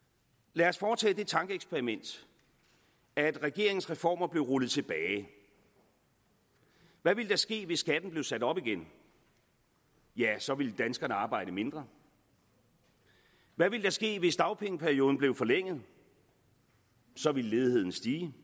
lad os foretage det tankeeksperiment at regeringens reformer blev rullet tilbage hvad ville der ske hvis skatten blev sat op igen ja så ville danskerne arbejde mindre hvad ville der ske hvis dagpengeperioden blev forlænget så ville ledigheden stige